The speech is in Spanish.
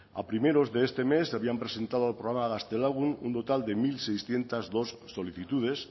a primeros de este mes se habían presentado al programa gaztelagun un total de mil seiscientos dos solicitudes